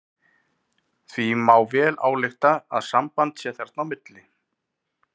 Því má vel álykta að samband sé þarna á milli.